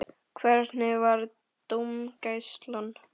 Hvernig var dómgæslan?